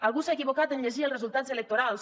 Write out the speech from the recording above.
algú s’ha equivocat en llegir els resultats electorals